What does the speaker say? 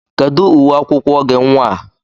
Kedụ uwe akwụkwọ gị nnwa a?